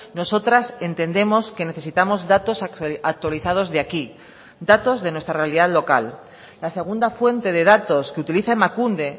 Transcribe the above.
nosotras entendemos que necesitamos datos actualizados de aquí datos de nuestra realidad local la segunda fuente de datos que utiliza emakunde